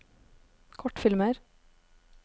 kortfilmer